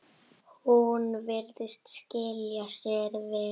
Hún virðist skila sér verr.